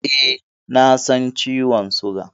E, na san ciwon suga.